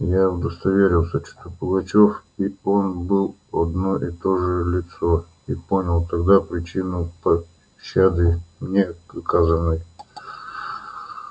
я удостоверился что пугачёв и он были одно и то же лицо и понял тогда причину пощады мне оказанной